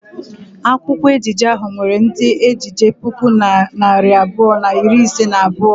Akwụkwọ ejije ahụ nwere ndị ejije puku na narị abụọ na iri ise na abụọ.